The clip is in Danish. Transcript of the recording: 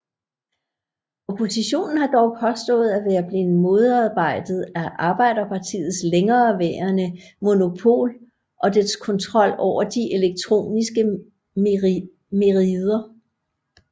Oppositionen har dog påstået at være blevet modarbejdet af Arbejderpartiets længereværende monopol og dets kontrol over de elektroniske merider